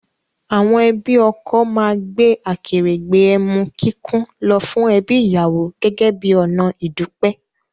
Àwọn ẹbí ọkọ máa gbé akèrègbè emu kíkún lọ fún ẹbí ìyàwó gẹ́gẹ́ bí ọ̀nà ìdúpẹ́